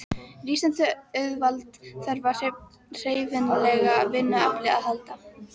Rísandi auðvald þarf á hreyfanlegu vinnuafli að halda.